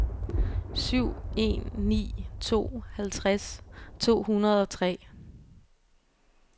syv en ni to halvtreds to hundrede og tre